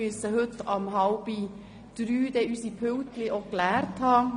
Wir müssen heute um 14.30 Uhr unsere Pulte geräumt haben.